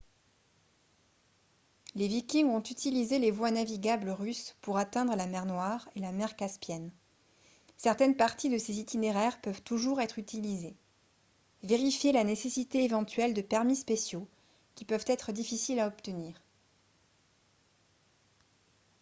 les vikings ont utilisé les voies navigables russes pour atteindre la mer noire et la mer caspienne certaines parties de ces itinéraires peuvent toujours être utilisées vérifiez la nécessité éventuelle de permis spéciaux qui peuvent être difficiles à obtenir